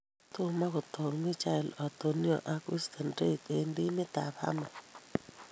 Tomo kotok Michail Antonio ak Winston Reid eng timit ab Hammers